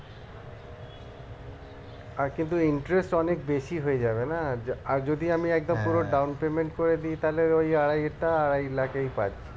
আর কিন্তু interest অনেক বেশি হয়ে যাবে না আর যদি আমি একদম পুরো down payment করে দি তাহলে ওই আড়াই টা আড়াই লাখ এই পাচ্ছি